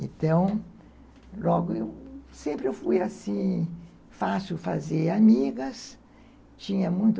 Então, logo eu, sempre eu fui assim, fácil fazer amigas, tinha muito